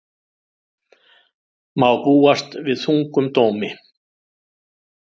Má búast við þungum dómi